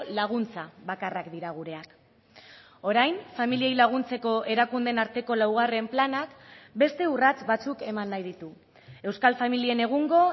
laguntza bakarrak dira gureak orain familiei laguntzeko erakundeen arteko laugarren planak beste urrats batzuk eman nahi ditu euskal familien egungo